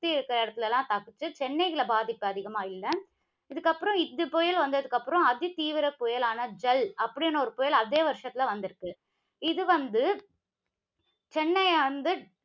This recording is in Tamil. சுத்தி இருக்கிற இடத்துல எல்லாம் தாக்குச்சி. சென்னையில பாதிப்பு அதிகமா இல்ல. இதுக்கப்புறம், இப்படி புயல் வந்ததுக்கப்புறம், அதிதீவிர புயலான ஜல் அப்படின்னு ஒரு புயல் அதே வருஷத்தில வந்திருக்கு. இது வந்து சென்னையை வந்து